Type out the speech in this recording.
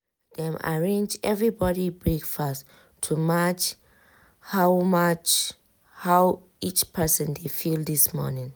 dem arrange everybody breakfast to match how match how each person dey feel this morning.